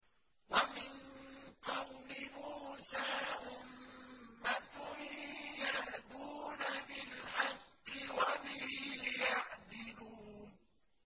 وَمِن قَوْمِ مُوسَىٰ أُمَّةٌ يَهْدُونَ بِالْحَقِّ وَبِهِ يَعْدِلُونَ